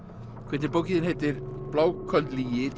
quentin bókin þín heitir bláköld lygi